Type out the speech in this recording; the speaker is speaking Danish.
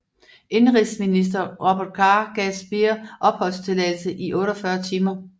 Indenrigsminister Robert Carr gav Speer opholdstilladelse i 48 timer